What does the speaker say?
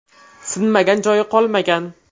Sinmagan joyi qolmagan.